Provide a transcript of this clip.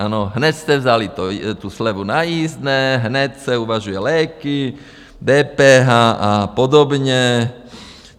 Ano, hned jste vzali tu slevu na jízdné, hned se uvažují léky, DPH a podobně.